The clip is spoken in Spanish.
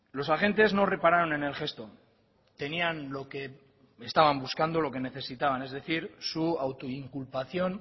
los agentes no repararon en el gesto tenían lo que estaban buscando lo que necesitaban es decir su autoinculpación